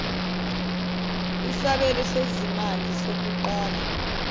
isabelo sezimali sokuqala